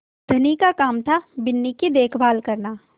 धनी का काम थाबिन्नी की देखभाल करना